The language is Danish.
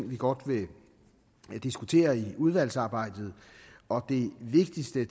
væk godt vil diskutere i udvalgsarbejdet og det vigtigste